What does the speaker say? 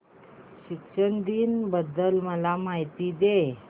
शिक्षक दिन बद्दल मला माहिती दे